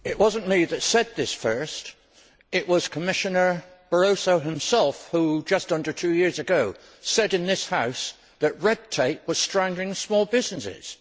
It was not me that said this first. It was Commissioner Barroso himself who, just under two years ago, said in this House that red tape was strangling small businesses.